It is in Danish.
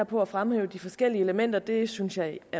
på at fremhæve de forskellige elementer det synes jeg